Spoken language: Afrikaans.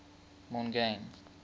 mongane